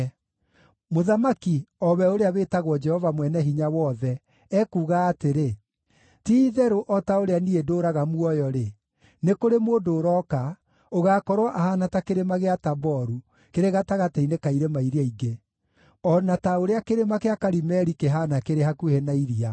Mũthamaki, o we ũrĩa wĩtagwo Jehova Mwene-Hinya-Wothe, ekuuga atĩrĩ, “Ti-itherũ o ta ũrĩa niĩ ndũũraga muoyo-rĩ, nĩ kũrĩ mũndũ ũroka, ũgaakorwo ahaana ta Kĩrĩma gĩa Taboru kĩrĩ gatagatĩ-inĩ ka irĩma iria ingĩ, o na ta ũrĩa Kĩrĩma gĩa Karimeli kĩhaana kĩrĩ hakuhĩ na iria.